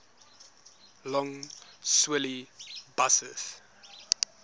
lough swilly buses